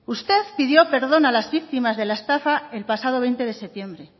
usted pidió perdón a las víctimas de la estafa el pasado veinte de septiembre